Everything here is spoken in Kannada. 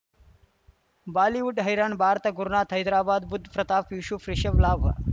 ಬಾಲಿವುಡ್ ಹೈರಾಣ್ ಭಾರತ ಗುರುನಾಥ ಹೈದರಾಬಾದ್ ಬುಧ್ ಪ್ರತಾಪ್ ಯೂಶುಫ್ ರಿಷಬ್ ಲಾಭ